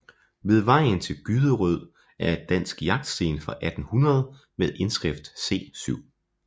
Ved vejen til Gyderød er et dansk jagtsten fra 1800 med indskrift C 7